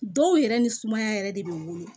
Dɔw yɛrɛ ni sumaya yɛrɛ de bɛ wele